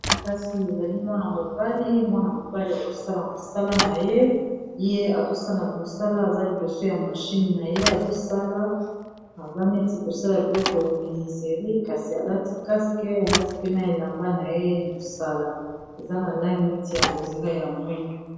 Kasi ezali mwana-mobali, mwana-mobali azosala mosala na ye ye azosala mosala aza liboso ya mashine na ye azosala aza neti kosala biloko ya miniseri kasi alati caske alati mpe na elamba na ye ya mosala eza na langi neti ya bozinga ya mwindu.